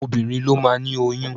Obinrin ló máa ni oyún.